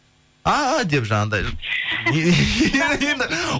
а деп жаңағындай